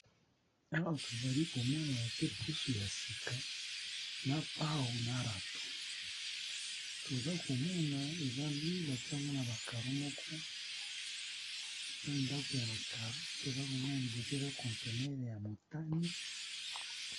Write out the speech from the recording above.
Awa tozali komona batye pusu ya sika na pao na rato toza komona eza ndako ya ba karo liboso kaza containers ya motane.